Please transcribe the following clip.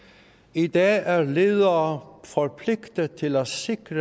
i dag er ledere forpligtet til at sikre